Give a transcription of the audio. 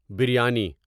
biryani